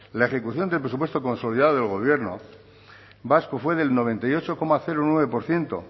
la ejecución del presupuesto consolidado del gobierno vasco fue del noventa y ocho coma nueve por ciento